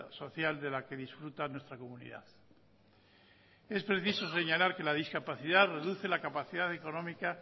social de la que disfruta nuestra comunidad es preciso señalar que la discapacidad reduce la capacidad económica